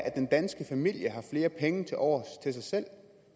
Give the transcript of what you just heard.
at den danske familie har flere penge til overs til sig selv